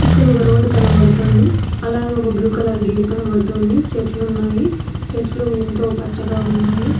ఇక్కడ ఒక రోడ్డు కనబడుతుంది అలాగే ఒక బ్లూ కలర్ గేట్ కనబడుతుంది చెట్లు ఉన్నాయి చెట్లు ఎంతో పచ్చగా ఉన్నాయి.